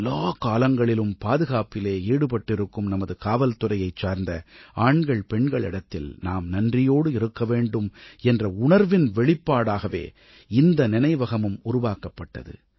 எல்லாக் காலங்களிலும் பாதுகாப்பிலே ஈடுபட்டிருக்கும் நமது காவல்துறையைச் சார்ந்த ஆண்கள்பெண்களிடத்தில் நாம் நன்றியோடு இருக்கவேண்டும் என்ற உணர்வின் வெளிப்பாடாகவே இந்த நினைவகமும் உருவாக்கப்பட்டது